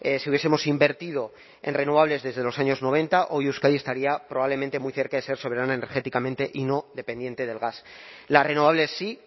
si hubiesemos invertido en renovables desde los años noventa hoy euskadi estaría probablemente muy cerca de ser soberana energéticamente y no dependiente del gas las renovables sí